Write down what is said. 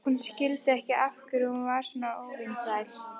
Hún skildi ekki af hverju hún var svona óvinsæl.